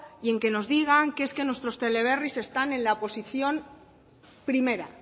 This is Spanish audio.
y en que nos digan que nuestros teleberris están en la posición primera